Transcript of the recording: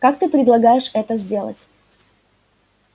как ты предполагаешь это сделать